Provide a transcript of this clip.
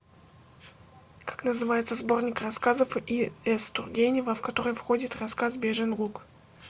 как называется сборник рассказов и с тургенева в который входит рассказ бежин луг